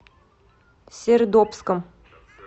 сердобском